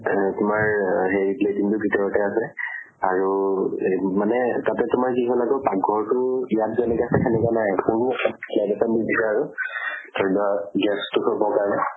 অ তোমাৰ হেৰি latrine bathroom টো ভিতৰতে আছে। আৰু হেই মানে তাতে তোমাৰ কি হল আকৌ পাক্ঘৰটো ইয়াত যেনেকে আছে, সেনেকুৱা নাই। সৰু slab এটা দি দিছে আৰু cylinder gas টো থবৰ কাৰণে